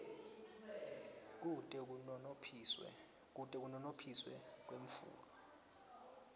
kute kunonophiswe kwetfulwa